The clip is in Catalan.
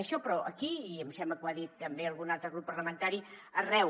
això però aquí i em sembla que ho ha dit també algun altre grup parlamentari arreu